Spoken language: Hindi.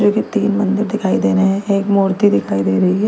जो कि तीन मंदिर दिखाई दे रहे हैं एक मूर्ति दिखाई दे रही है।